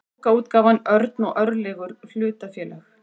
bókaútgáfan örn og örlygur hlutafélag